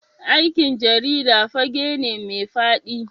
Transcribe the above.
Aikin jarida fage ne mai fadi.